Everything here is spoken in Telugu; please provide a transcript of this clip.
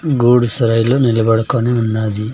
గూడుసైలో నిలబడుకొని ఉన్నాది.